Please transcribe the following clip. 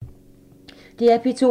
DR P2